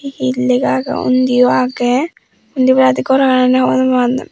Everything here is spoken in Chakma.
iyot lega agey undiyo agey undi oboladi goran yean.